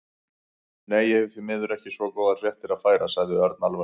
Nei, ég hef því miður ekki svo góðar fréttir að færa sagði Örn alvarlegur.